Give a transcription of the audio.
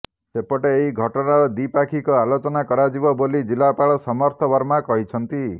ସେପଟେ ଏହି ଘଟଣାର ଦ୍ୱିପାକ୍ଷିକ ଆଲୋଚନା କରାଯିବ ବୋଲି ଜିଲ୍ଲାପାଳ ସମର୍ଥ ବର୍ମା କହିଛନ୍ତି